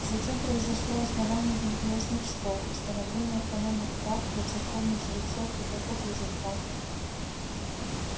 затем произошло основание религиозных школ установление автономных прав для церковных жрецов и каков результат